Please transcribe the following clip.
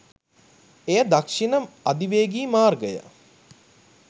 එය දක්ෂිණ අධිවේගී මාර්ගය